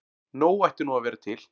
Nóg ætti nú að vera til.